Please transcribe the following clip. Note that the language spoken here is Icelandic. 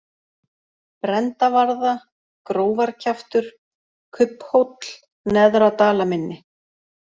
Brendavarða, Grófarkjaftur, Kubbhóll, Neðra-Dalamynni